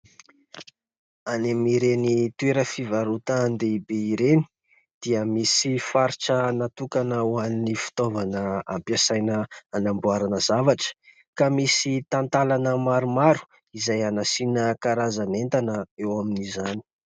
Any amin'ireny toeram-pivarotan-dehibe ireny dia misy faritra natokana ho an'ny fitaovana ampiasaina hanamboarana zavatra. Ka misy talantana maromaro izay hanasiana karazan'entana eo amin'izany.